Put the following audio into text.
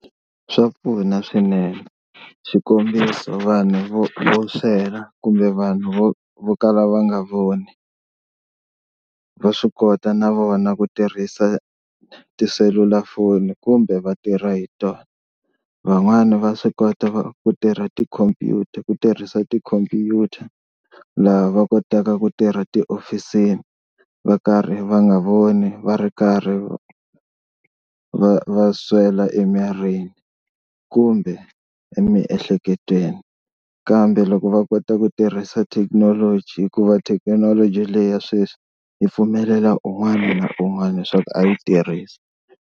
Swa pfuna swinene, xikombiso vanhu vo vo swela kumbe vanhu vo vo kala va nga voni va swi kota na vona ku tirhisa tiselulafoni kumbe va tirha hi tona. Van'wani va swi kota ku tirha tikhompyuta ku tirhisa ti-computer laha va kota ku tirha tihofisini va karhi va nga voni va ri karhi va va swela emirini kumbe emiehleketweni. Kambe loko va kota ku tirhisa thekinoloji hikuva thekinoloji leyi ya sweswi yi pfumelela un'wana na un'wana leswaku a yi tirhisa.